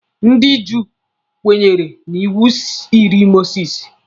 Ndị Juu kwenyere na iwu iri Mosisi.